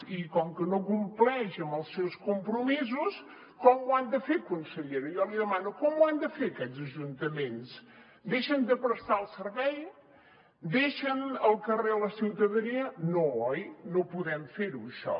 i com que no compleix amb els seus compromisos com ho han de fer consellera jo li demano com ho han de fer aquests ajuntaments deixen de prestar el servei deixen al carrer la ciutadania no oi no podem fer ho això